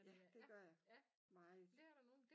Ja det gør jeg meget